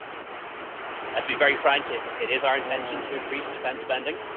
To be frank, it is our intention to increase defence spending.